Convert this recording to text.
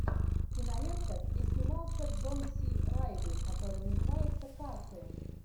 кинолента где снимался джон си райли который называется карты